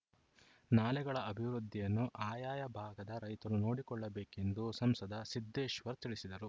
ನಾಲೆಗಳ ಅಭಿವೃದ್ಧಿಯನ್ನು ಆಯಾಯ ಭಾಗದ ರೈತರು ನೋಡಿಕೊಳ್ಳಬೇಕೆಂದು ಸಂಸದ ಸಿದ್ದೇಶ್ವರ್‌ ತಿಳಿಸಿದರು